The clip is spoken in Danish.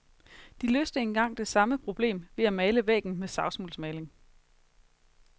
De løste engang det samme problem ved at male væggen med savsmuldsmaling.